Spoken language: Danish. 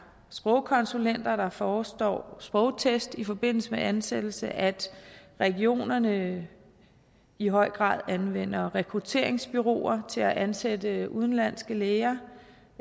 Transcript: sprogkonsulenter der forestår sprogtest i forbindelse med ansættelse at regionerne i høj grad anvender rekrutteringsbureauer til at ansætte udenlandske læger